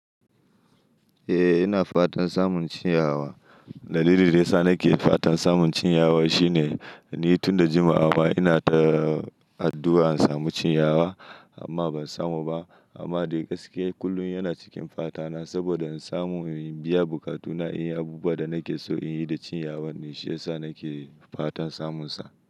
Eh, ina fatan samun cinyawa. Dalilin da ya sa nake fatan samun cinyawa shine ni tun da jimawa ina taa addu'a in samu cinyawa amma ban samu ba. Amma dai gaskiya kullum yana cikin fatana saboda in samu, in biya bukatuna, in yi abubuwan da nake so in yi da cinyawar ne. Shi ya sa nake fatan samunsa.